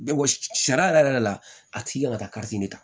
Sa sariya yɛrɛ yɛrɛ yɛrɛ de la a tigi kan ka taa de ta